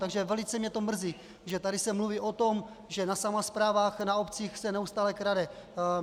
Takže velice mě to mrzí, že se tady mluví o tom, že na samosprávách, na obcích se neustále krade.